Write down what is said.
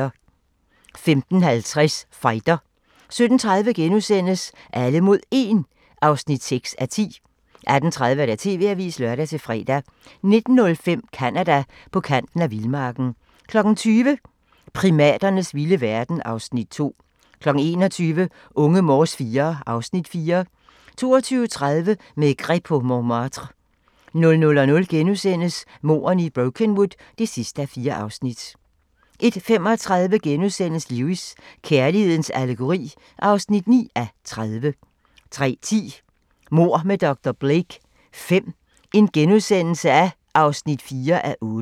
15:50: Fighter 17:30: Alle mod 1 (6:10)* 18:30: TV-avisen (lør-fre) 19:05: Canada: På kanten af vildmarken 20:00: Primaternes vilde verden (Afs. 2) 21:00: Unge Morse IV (Afs. 4) 22:30: Maigret på Montmartre 00:00: Mordene i Brokenwood V (4:4)* 01:35: Lewis: Kærlighedens allegori (9:30)* 03:10: Mord med dr. Blake V (4:8)*